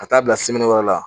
Ka taa bila wɛrɛ la